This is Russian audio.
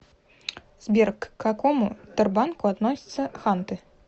сбер к какому тербанку относятся ханты